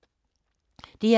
DR K